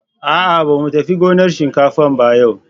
A'a, ba mu tafi gonar shinkafan ba yau.